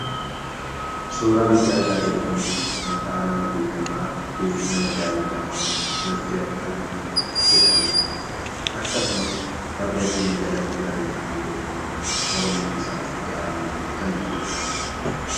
Suuraa nuti argaa jirru kun, maqaa nama beekamaafi nama jaalatamaa Dr. Abiiy jedhamaniidha. Akkasumas barrefamni jalatti barrefamee jiru, Oromiiffi isaa ida'aamu kan jedhuudha.